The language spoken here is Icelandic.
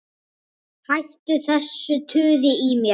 Hættu þessu tuði í mér.